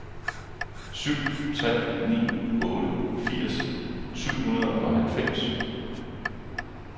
syv tre ni otte firs syv hundrede og halvfems